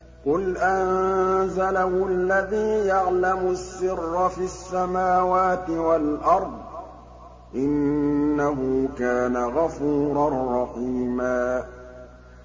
قُلْ أَنزَلَهُ الَّذِي يَعْلَمُ السِّرَّ فِي السَّمَاوَاتِ وَالْأَرْضِ ۚ إِنَّهُ كَانَ غَفُورًا رَّحِيمًا